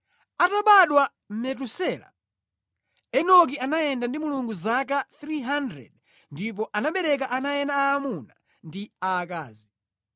Atabadwa Metusela, Enoki anayenda ndi Mulungu zaka 300 ndipo anabereka ana ena aamuna ndi aakazi.